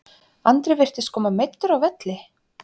Andri virtist koma meiddur af velli?